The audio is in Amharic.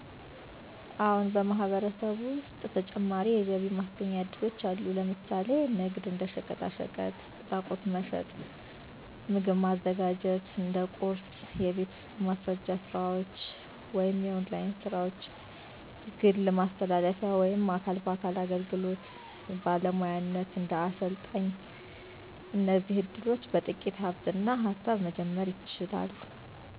አዎን፣ በማህበረሰብ ውስጥ ተጨማሪ የገቢ ማስገኛ እድሎች አሉ። ምሳሌዎች፦ ለምሳሌ ንግድ (እንደ ሸቀጣሸቀጥ፣ ቁሳቁስ መሸጥ) ሥራ ማዘጋጀት (ቁርስ) የቤት ውስጥ ማስረጃ ስራዎች ( ኦንላይን ሥራዎች) ግል ማስተላለፊያ ወይም አካል በአካል አገልግሎት (ባለሙያነት፣ እንደ አሰልጣኝ) እነዚህ እድሎች በጥቂት ሃብትና ሃሳብ መጀመር ይቻላሉ።